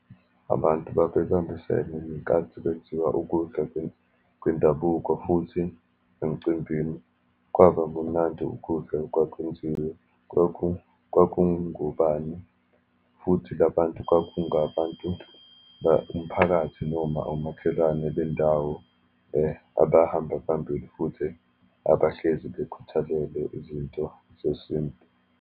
Abantu babebambisene ngenkathi kenziwa ukudla kwendabuko, futhi emcimbini kwaba kumnandi ukudla okwakwenziwe. Kwakungubani, futhi labantu kwakungabantu umphakathi, noma omakhelwane bendawo abahamba phambili, futhi abahlezi bekhuthalele izinto sesintu.